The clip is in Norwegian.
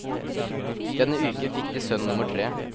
Denne uken fikk de sønn nummer tre.